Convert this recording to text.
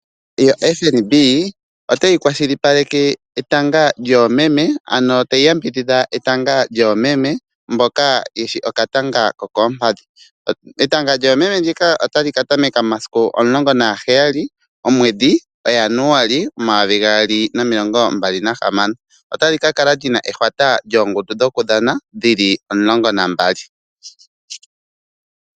FNB otayi kwashilipaleke etanga lyoomeme ano tayi yambidhidha etanga lyoomeme mboka yeshi okatanga ko koompadhi. Etanga lyoomeme ndika otali ka tameka momasiku 17, omweedhi o Januali 2026. Otali ka kala lina ehwata lyoongundu dhokudhana dhili 12.